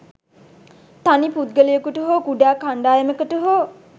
තනි පුද්ගලයෙකුට හෝ කුඩා කණ්ඩායමකට හෝ